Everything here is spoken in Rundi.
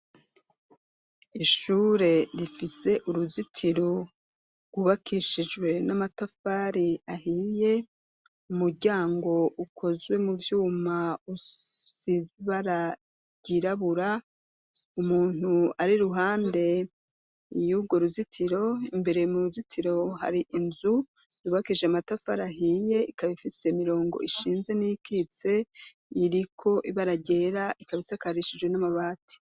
Ishure rifise uruzitiro wubakishijwe n'amatafari ahiye umuryango ukozwe mu vyuma usibaragirabura umuntu ari ruhande iyougo ruzitiro imbere mu ruzitiro hari inzu ribakishe matafarahiye ikabifise mirongo ishinze n'ikitse yiriko ibararyera ikabisakarishijwe n'amabati.